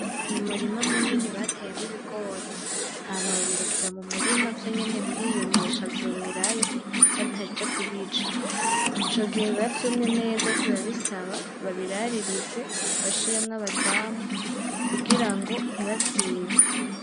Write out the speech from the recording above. Ni umurima munini bateyemwo ibigori, hama babirekera mu murima vyonyene biriyumisha vyumirayo bataja kubica, ico gihe biba vyumye neza ariko biba bisaba babiraririze bashiremwo abazamu kugira ngo ntibavyibe.